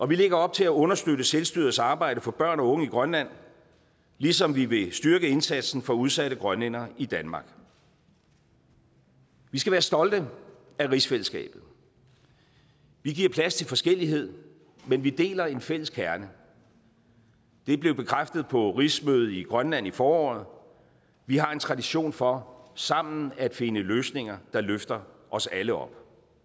vi lægger op til at understøtte selvstyrets arbejde for børn og unge i grønland ligesom vi vil styrke indsatsen for udsatte grønlændere i danmark vi skal være stolte af rigsfællesskabet vi giver plads til forskellighed men vi deler en fælles kerne det blev bekræftet på rigsmødet i grønland i foråret vi har en tradition for sammen at finde løsninger der løfter os alle op